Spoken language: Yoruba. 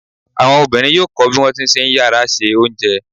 Àwọn obìnrin yóò kọ bí wọ́n ti ṣe ń yára se oúnjẹ.